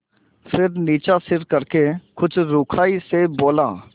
फिर नीचा सिर करके कुछ रूखाई से बोला